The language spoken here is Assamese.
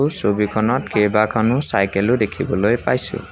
ছবিখনত কেইবাখনো চাইকেল ও দেখিবলৈ পাইছোঁ।